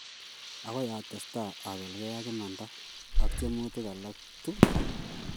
"Agoi atestai abelge ak imanda ak tiemutik alak tugul.